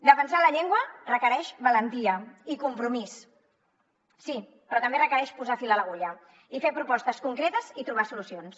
defensar la llengua requereix valentia i compromís sí però també requereix posar fil a l’agulla i fer propostes concretes i trobar solucions